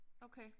Okay